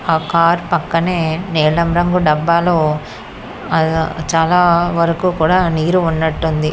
ఆ కారు పక్కనే నీలం రంగు డబ్బాలో ఆ చాలా వరకు కూడా నీరు ఉన్నట్టుంది.